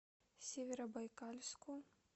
северобайкальску